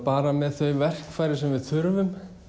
bara með þau verkfæri sem við þurfum